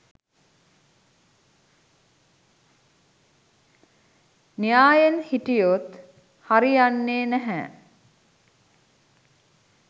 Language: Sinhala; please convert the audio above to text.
න්‍යායෙන් හිටියොත් හරි යන්නේ නැහැ